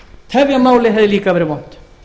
tefja málið hefði líka verið vont